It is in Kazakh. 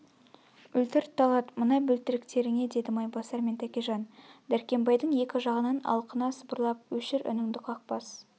өлтірт талат мына бөлтіріктерңе деді майбасар мен тәкежан дәркембайдың екі жағынан алқына сыбырлап өшір үніңді қақбас